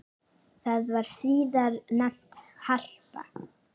Það var síðar nefnt Harpa.